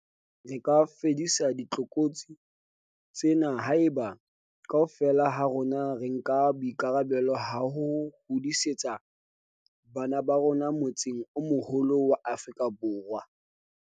Re ka fedisa ditlokotsi tsena haeba, kaofela ha rona re nka boikarabelo ba ho hodisetsa bana ba rona motseng o moholo wa Aforika Borwa.